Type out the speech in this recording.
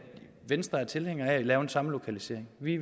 venstre er tilhænger af at lave en samlokalisering vi